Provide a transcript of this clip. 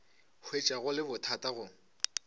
hwetša go le bothata go